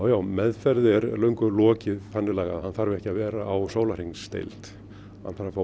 já meðferð er löngu lokið hann þarf ekki að vera á sólarhringsdeild hann þarf að fá